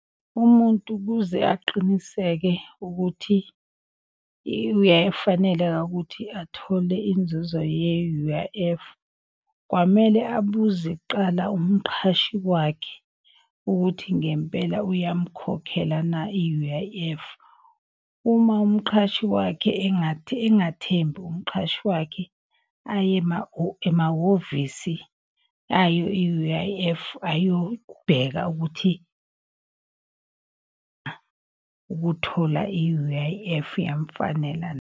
Umuntu kuze aqiniseke ukuthi uyayifaneleka ukuthi athole inzuzo ye-U_I_F. Kwamele abuze kuqala kumqhashi wakhe ukuthi ngempela uyamkhokhela na i-U_I_F. Uma umqhashi wakhe engathembi kumqhashi wakhe aye emahhovisi ayo i-U_I_F ayobheka ukuthi ukuthola i-U_I_F iyamfanela .